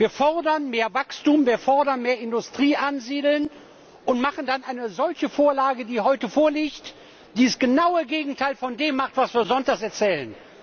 Wir fordern mehr Wachstum, wir fordern, mehr Industrie anzusiedeln, und machen dann eine solche Vorlage wie die heute vorliegende, die das genaue Gegenteil von dem macht, was wir sonntags erzählen.